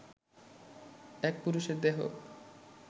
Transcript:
এক পুরুষের দেহ